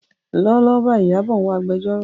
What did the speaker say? Lọ́wọ́lọ́wọ́ báyìí, Ìyábọ̀ ń wá agbẹjọ́rò.